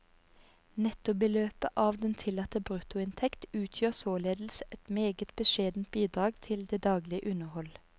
Nettobeløpet av den tillatte bruttoinntekt utgjør således et meget beskjedent bidrag til det daglige underhold.